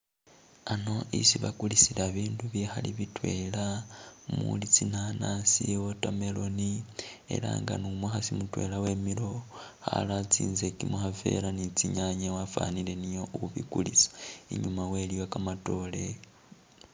Ano isi bakulisila bindu bikhali bitwela muli tsinanasi, water melon, ela nga nu'mukhasi mutwela wemilewo khara tsinzeki mukhafera ni tsinyanye wafwanile niye ubikulisa, inyuma wewe iliyo kamatoore